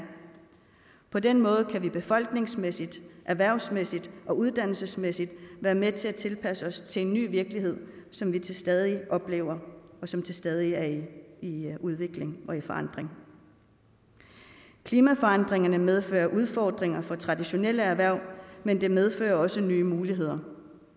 på den måde kan vi befolkningsmæssigt erhvervsmæssigt og uddannelsesmæssigt være med til at tilpasse os til en ny virkelighed som vi til stadighed oplever og som stadig er i udvikling og forandring klimaforandringerne medfører udfordringer for traditionelle erhverv men de medfører også nye muligheder